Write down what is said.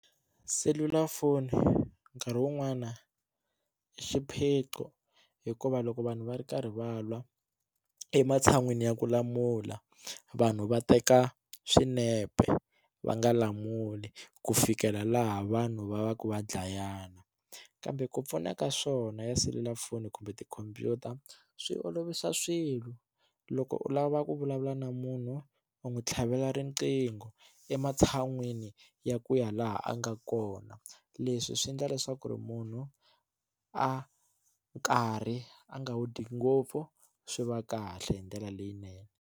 Selulafoni nkarhi wun'wani i xiphiqo hikuva loko vanhu va ri karhi va lwa ematshan'wini ya ku lamula vanhu va teka swinepe va nga lamuli ku fikela laha vanhu va va ka va dlayana kambe ku pfuna ka swona ya selulafoni kumbe tikhompyuta swi olovisa swilo loko u lava ku vulavula na munhu u n'wi tlhavela riqingho ematshan'wini ya ku ya laha a nga kona leswi swi endla leswaku ri munhu a karhi a nga wu dyi ngopfu swi va kahle hi ndlela leyinene.